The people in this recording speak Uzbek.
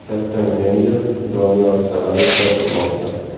Katta menejer Doniyor Salayev gapirmoqda.